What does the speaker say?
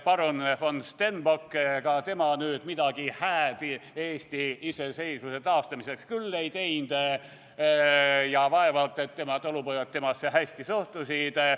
Parun von Stenbock, ega tema nüüd midagi hääd Eesti iseseisvuse taastamiseks küll ei teinud ja vaevalt et tema talupojad temasse hästi suhtusid.